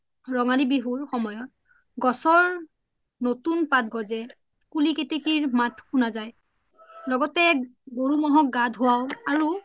ৰঙালী বিহুৰ সময়ত গছৰ নতুন পাত গজে কুলি কেতেকিৰ মাত সুনা জাই লগতে গৰু মহক গা ধুৱাই আৰু